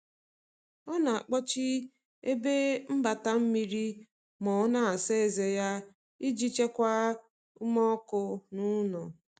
ọ na akpochi ebe mgbata mmiri ma ọ na asa eze ya, ijii chekwaa ume ọkụ n'ulo